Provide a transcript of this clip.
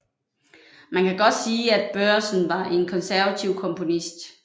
Man kan godt sige at Børresen var en konservativ komponist